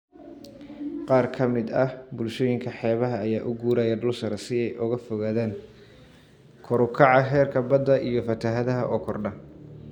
Qaar ka mid ah bulshooyinka xeebaha ayaa u guuraya dhul sare si ay uga fogaadaan kor u kaca heerka badda iyo fatahaadaha oo kordha.